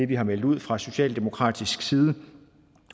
vi har meldt ud fra socialdemokratisk side